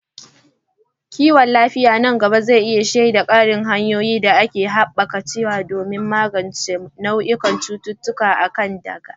Kiwon lafiya nan gaba zai iya shaida ƙarin hanyoyin da aka keɓance don magance nau'ikan cututtukan da aka gada.